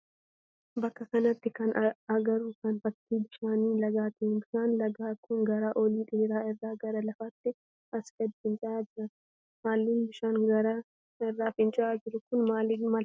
Bakka kanatti kan agarru kan fakkii bishaan lagaati. Bishaan lagaa kun gaara ol dheeraa irra gara lafaatti asi gadii fincaa'aa jira. Halluun bishaan gaara irraa fincaa'aa jiru kun maal fakkaata?